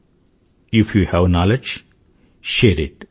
if you have knowledge share IT